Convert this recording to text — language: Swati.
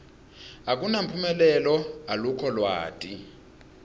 akunamphumelelo alukho lwati